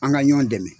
An ka ɲɔn dɛmɛ